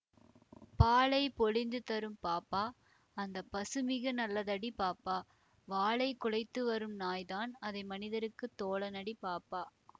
பாலை பொழிந்துதரும் பாப்பா அந்த பசுமிக நல்லதடி பாப்பா வாலைக் குழைத்துவரும் நாய்தான் அது மனிதர்க்குத் தோழனடி பாப்பா